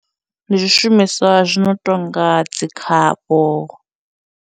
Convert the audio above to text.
Ndi zwishumiswa zwi no tonga dzi khavho.